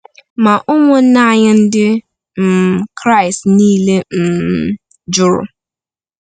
Ma ụmụnna anyị Ndị um Kraịst niile um jụrụ.